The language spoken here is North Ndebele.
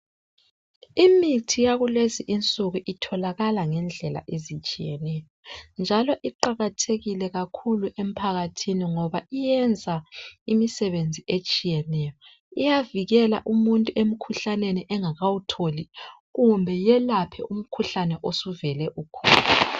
Imithi yakulezi insuku itholakala ngedlela ezitshiyeneyo. Njalo iqakathekile kakhulu emphakathini ngoba iyenza umsebenzi etshiyeneyo. Iyavikela umuntu umkhuhlane engakawutholi kumbe iyelapha umkhuhlane usuvele ukhona.